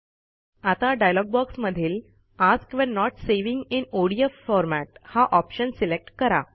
आता डॉयलॉग बॉक्समधील ask when not saving in ODF format हा ऑप्शन सिलेक्ट करा